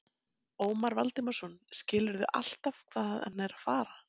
Ómar Valdimarsson: Skilurðu alltaf hvað hann er að fara?